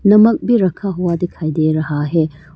नमक भी रखा हुआ दिखाई दे रहा है।